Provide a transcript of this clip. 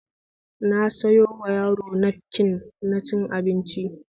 Na sayowa yaro nafkin na cin abinci